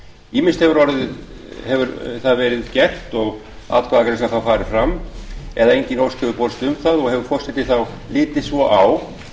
ýmist hefur það verið gert og atkvæðagreiðslan þá farið fram ef engin ósk hefur borist um það og hefur forseti þá litið svo á